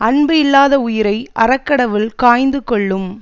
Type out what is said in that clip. அன்பு இல்லாத உயிரை அறக்கடவுள் காய்ந்து கொல்லும்